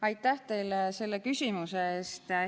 Aitäh teile selle küsimuse eest!